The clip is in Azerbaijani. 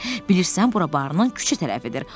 Bilirsən bura barının küçə tərəfidir.